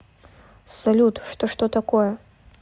салют что что такое